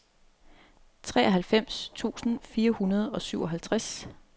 treoghalvfems tusind fire hundrede og syvoghalvtreds